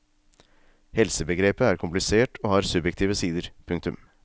Helsebegrepet er komplisert og har subjektive sider. punktum